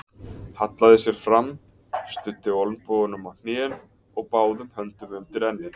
Hallaði sér fram, studdi olnbogunum á hnén og báðum höndum undir enni.